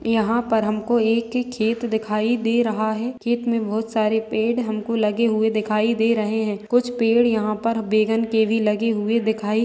यहाँ पर हम को एक ही खेत दिखाई दे रहा है खेत मे बहुत सारे पेड़ हमको लगे हुए दिखाई दे रहे है कुछ पेड़ यहाँ पर बैगन के भी लगे हुए दिखाई--